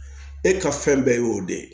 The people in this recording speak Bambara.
E ka fɛn bɛɛ y'o de ye